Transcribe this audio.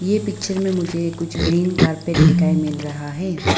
ये पिक्चर में मुझे कुछ ग्रीन कारपेट दिखाएं मिल रहा है।